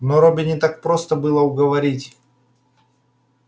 но робби не так просто было уговорить